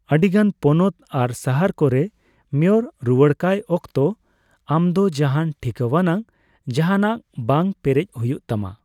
ᱟᱹᱰᱤᱜᱟᱱ ᱯᱚᱱᱚᱛ ᱟᱨ ᱥᱟᱦᱟᱨ ᱠᱚᱨᱮ ᱢᱮᱭᱚᱨ ᱨᱩᱣᱟᱹᱲᱠᱟᱭ ᱚᱠᱛᱚ ᱟᱢᱫᱚ ᱡᱟᱦᱟᱱ ᱴᱷᱤᱠᱟᱹᱣᱟᱱᱟᱜ ᱡᱟᱦᱟᱱᱟᱜ ᱵᱟᱝ ᱯᱮᱨᱮᱡ ᱦᱩᱭᱩᱜ ᱛᱟᱢᱟ ᱾